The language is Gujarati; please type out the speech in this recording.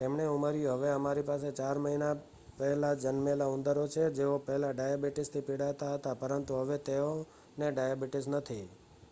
"તેમણે ઉમેર્યું "હવે અમારી પાસે 4 મહિના પહેલા જન્મેલા ઉંદરો છે જેઓ પહેલા ડાયાબિટીસથી પીડાતા હતા પરંતુ હવે તેઓને ડાયાબિટીસ નથી.""